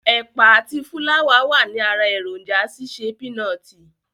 Ẹ̀pà àti fúláwà wàní ara èròǹjà ṣíṣe pínọtì.